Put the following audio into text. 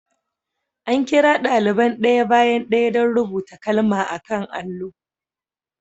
An kira daliban ɗaya bayan ɗaya don rubuta kalma a kan allo.